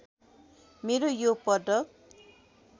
मेरो यो पदक